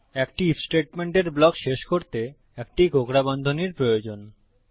একটি আইএফ স্টেটমেন্টের ব্লক শেষ করতে একটি কোঁকড়া বন্ধনীর প্রয়োজন